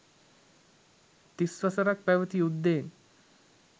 තිස් වසරක් පැවති යුද්ධයෙන්